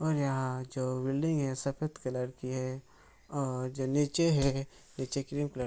और यहाँ जो बिल्डिंग है सफ़ेद कलर की है और जो नीचे है नीचे की भी --